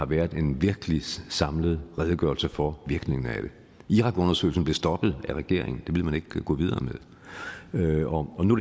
været en virkelig samlet redegørelse for virkningen af det irakundersøgelsen blev stoppet af regeringen det ville man ikke gå videre med og nu